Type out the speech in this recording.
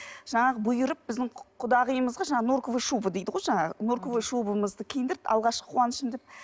жаңағы бұйырып біздің құдағиымызға жаңағы норковый шуба дейді ғой жаңағы норковый шубамызды киіндіріп алғашқы қуанышым деп